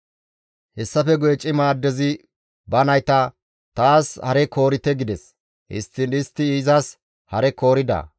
Hessafe guye cima addezi ba nayta, «Taas hare koorite» gides. Histtiin istti izas hare koorida.